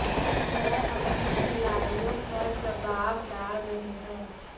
वह अपने खिलाड़ियों पर दबाव डाल रहे हैं